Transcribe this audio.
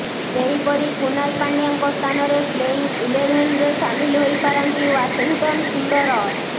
ସେହିପରି କୁନାଲ ପାଣ୍ଡ୍ୟାଙ୍କ ସ୍ଥାନରେ ପ୍ଲେଇଂ ଇଲେଭେନ୍ରେ ସାମିଲ ହୋଇପାରନ୍ତି ଓ୍ବାଶିଂଟନ୍ ସୁନ୍ଦର